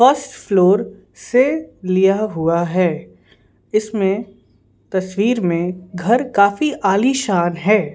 First floor से लिया हुआ है इसमें तस्वीर मेंघर काफी आलीशान है।